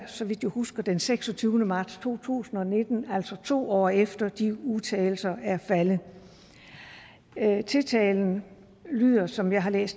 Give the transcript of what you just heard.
så vidt jeg husker den seksogtyvende marts to tusind og nitten altså to år efter at de udtalelser er faldet tiltalen lyder som jeg har læst